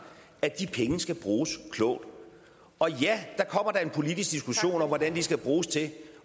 af kroner de penge skal bruges klogt og ja der kommer da en politisk diskussion om hvad de skal bruges til